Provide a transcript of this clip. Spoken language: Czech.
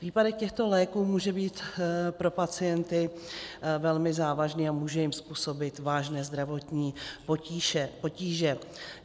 Výpadek těchto léků může být pro pacienty velmi závažný a může jim způsobit vážné zdravotní potíže.